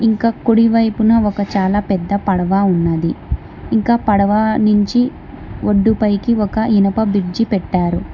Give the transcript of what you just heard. ఇంకా కుడి వైపున ఒక చాలా పెద్ద పడవ ఉన్నది ఇంకా పడవ నుంచి వడ్డు పైకి ఒక ఇనప బ్రిడ్జి పెట్టారు.